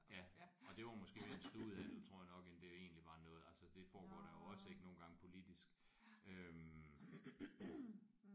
Og det var måske mere en studehandel tror jeg nok end det egentlig var noget altså det foregår der jo også ik nogle gange politisk øh